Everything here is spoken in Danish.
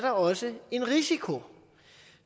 jo også en risiko